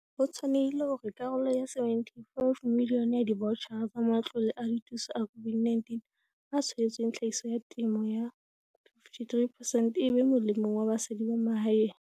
Ho tshwanehile hore karolo ya R75 milione ya divaotjhara tsa matlole a dithuso a COVID-19 a tshwaetsweng tlhahiso ya temo 53 percent e be molemong wa basadi ba mahaeng.